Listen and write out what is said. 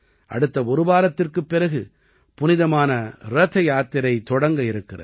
அடுத்த ஒரு வாரத்திற்குப் பிறகு புனிதமான ரத யாத்திரை தொடங்கவிருக்கிறது